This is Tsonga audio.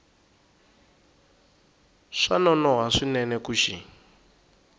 swa nonoha swinene ku xi